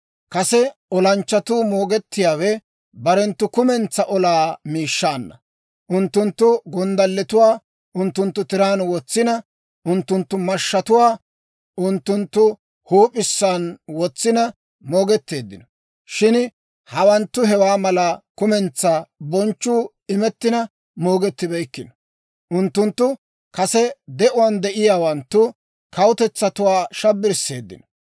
Kase olanchchatuu moogettiyaawe barenttu kumentsaa olaa miishshaanna; unttunttu gonddalletuwaa unttunttu tiraan wotsina, unttunttu mashshatuwaa unttunttu huup'isaan wotsina, moogetteeddino. Shin hawanttu hewaa mala kumentsaa bonchchuu imettina moogettibeykkino. Unttunttu kase de'uwaan de'iyaawanttu kawutetsatuwaa shabbarseeddino.